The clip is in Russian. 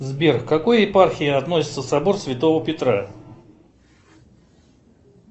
сбер к какой епархии относится собор святого петра